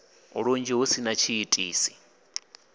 lunzhi hu si na tshiitisi